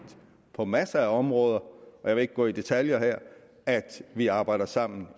på masser af områder og jeg vil ikke gå i detaljer her at vi arbejder sammen